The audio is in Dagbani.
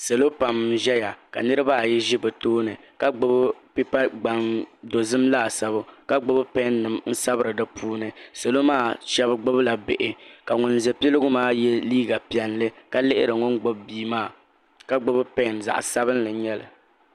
salo pam n ʒɛya ka niriba ayi ʒɛ bɛ tooni ka gbibi pipa gbaŋ dozim laasabu ka gbibi pen n sabira dipuuni salo maa sheba gbibila bihi ka ŋun za piligu maa ye liiga piɛlli ka lihiri ŋun gbibi bia maa ka gbibi peni zaɣa sabinli n nyɛli.